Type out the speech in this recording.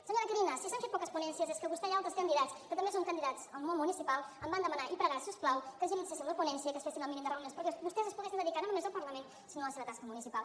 senyora carina si s’han fet poques ponències és perquè vostè i altres candidats que també són candidats al món municipal em van demanar i pregar si us plau que agilitzéssim la ponència i que es fessin el mínim de reunions perquè vostès es poguessin dedicar no només al parlament sinó a la seva tasca municipal